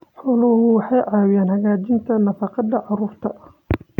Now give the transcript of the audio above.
Xooluhu waxay caawiyaan hagaajinta nafaqada carruurta.